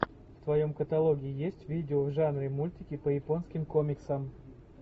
в твоем каталоге есть видео в жанре мультики по японским комиксам